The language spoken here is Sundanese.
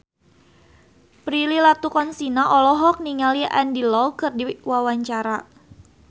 Prilly Latuconsina olohok ningali Andy Lau keur diwawancara